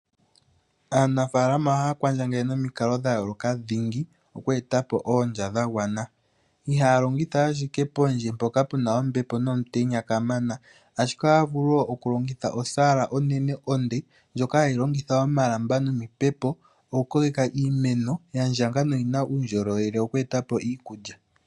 Aanafaalama ohaya kwandjangele nomikalo dha yooloka dhingi oku eta po oondja dha gwana. Ihaya longitha ashike pondje mpoka puna ombepo nomutenya kamana , ashike ohaya vulu wo okulongitha osaala onene onde ndjoka hayi longitha omalamba nomipepo oku koleka iimemo yandjanga noyina uundjolowele oku eta po iikulya.